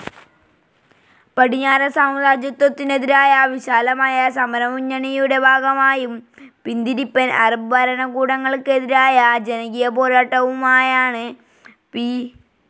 പടിഞ്ഞാറൻ സാമ്രാജ്യത്വത്തിനെതിരായ വിശാലമായ സമരമുന്നണിയുടെ ഭാഗമായും, പിന്തിരിപ്പൻ അറബ് ഭരണകൂടങ്ങൾക്കെതിരായ ജനകീയപോരാട്ടവുമായാണ് പി.